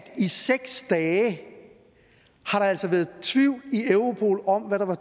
i seks dage har der altså været tvivl i europol om hvad der var